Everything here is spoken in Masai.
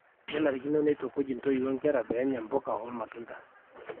kenarikino neitukuj intoiwuo nkera peenya mpuka olmatunda